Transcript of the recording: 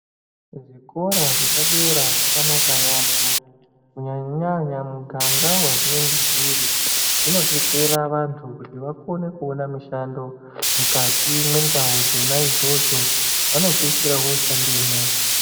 Zvikora zvepadera zvakanaka yaambo kunyanya-nyanya muganga vazvinenge zviri. Zvinobetsera vantu kuti vakone kuona mushando mukati mwendau dzona idzodzo vanopedzisira voshandemwo.